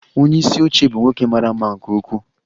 Onye isi oche bụ nwoke mara mma nke ukwuu.